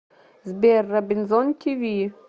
сбер робинзон ти ви